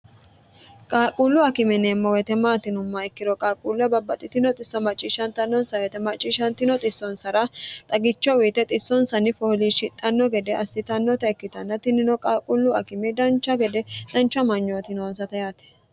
qaaqquullu akime yineemmo weete maati yinummoha ikkiro qaaquulle babbaxxitino xisso macciishshantannonsa weete macciishshantino xissonsara xagicho uyite xissonsanni fooliishshidhanno gede assitannota ikkitanna tinino qaaquullu akime dancha gede dancha amanyooti noonsata yaate